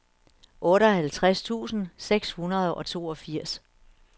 otteoghalvtreds tusind seks hundrede og toogfirs